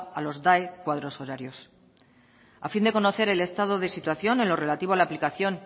a los cuadros horarios a fin de conocer el estado de situación en lo relativo a la aplicación